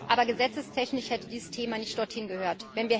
Aber gesetzestechnisch hätte dieses Thema nicht dort hingehört.